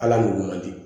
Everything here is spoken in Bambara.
Ala m'o di